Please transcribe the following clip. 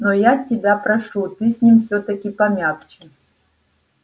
но я тебя прошу ты с ним всё-таки помягче